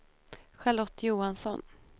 Charlotte Johansson